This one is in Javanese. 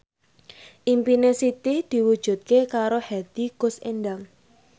impine Siti diwujudke karo Hetty Koes Endang